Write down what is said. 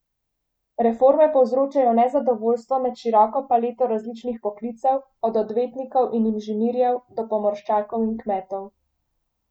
Reforme povzročajo nezadovoljstvo med široko paleto različnih poklicev, od odvetnikov in inženirjev, do pomorščakov in kmetov.